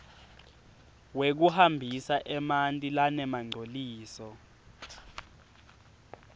wekuhambisa emanti lanemangcoliso